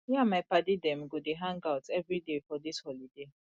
me and my paddy dem go dey hangout everyday for dis holiday